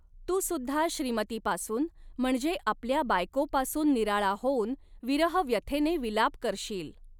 तू सुद्धा श्रीमतीपासून म्हणजे आपल्या बायकोपासून निराळा होऊन विरहव्यथेने विलाप करशील